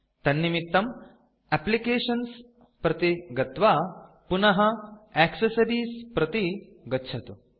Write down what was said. तन्निमित्तं एप्लिकेशन्स् प्रति गत्वा पुनः एक्सेसरीज़ प्रति गच्छतु